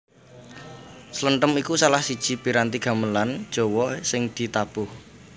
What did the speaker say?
Slenthem iku salah siji piranti gamelan Jawa sing ditabuh